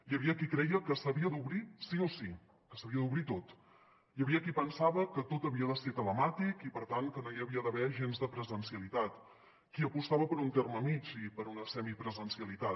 hi havia qui creia que s’havia d’obrir sí o sí que s’havia d’obrir tot hi havia qui pensava que tot havia de ser telemàtic i per tant que no hi havia d’haver gens de presencialitat qui apostava per un terme mitjà i per una semipresencialitat